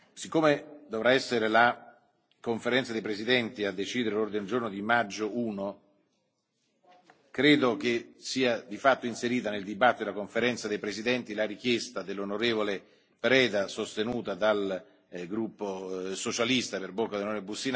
Siccome dovrà essere la Conferenza dei presidenti a decidere l'ordine del giorno di maggio I, credo che sia di fatto inserita nel dibattito della Conferenza dei presidenti la richiesta dell'on. Preda, sostenuta dal Gruppo socialista per bocca dell'on.